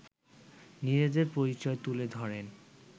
নিজেদের পরিচয় তুলে ধরেন